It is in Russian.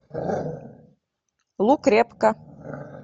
лук репка